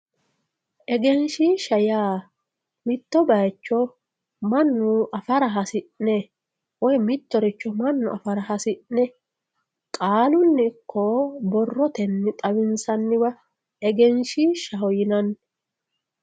egenshishshan yaa mitto bayiicho mannu afara hasi'ne woy mittoricho mannu afara hasi'ne qaalunni ikko borrotenni xawinsanniwa egenshiishshaho yinanni.